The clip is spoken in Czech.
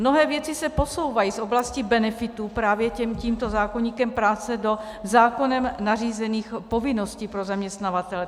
Mnohé věci se posouvají z oblasti benefitů právě tímto zákoníkem práce do zákonem nařízených povinností pro zaměstnavatele.